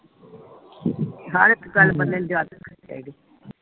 ਹਰ ਇਕ ਗੱਲ ਬੰਦੇ ਨੂੰ ਯਾਦ ਰੱਖਣੀ ਚਾਹੀਦੀ